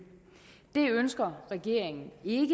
det ønsker regeringen ikke